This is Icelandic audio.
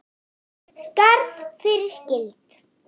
Skarð fyrir skildi.